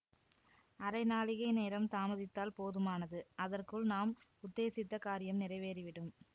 அரை நாழிகை நேரம் தாமதித்தால் போதுமானது அதற்குள் நாம் உத்தேசித்த காரியம் நிறைவேறி விடும்